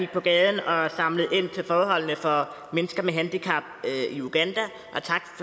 på gaden og samlede ind til at forbedre forholdene for mennesker med handicap i uganda